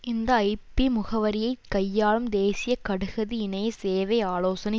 இந்த ஐபி முகவரியை கையாளும் தேசிய கடுகதி இணைய சேவை ஆலோசனை